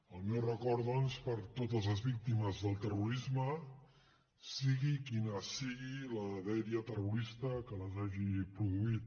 el meu record doncs per a totes les víctimes del terrorisme sigui quina sigui la dèria terrorista que les hagi produït